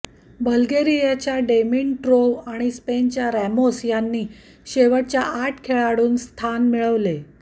बल्गेरियाच्या डिमिंट्रोव्ह आणि स्पेनच्या रॅमोस यांनी शेवटच्या आठ खेळाडूंत स्थान मिळविले